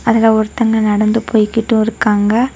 அதுல ஒருதங்க நடந்து போய்க்கிட்டும் இருக்காங்க.